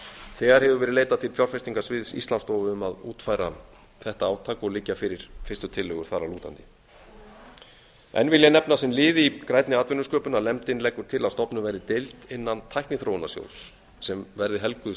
þegar hefur verið leitað til fjárfestingasviðs íslandsstofu um að útfæra þetta átak og liggja fyrir fyrstu tillögur þar að lútandi enn vil ég nefna sem lið í grænni atvinnusköpun nefndin leggur til að stofnuð verði deild innan tækniþróunarsjóðs sem verði helguð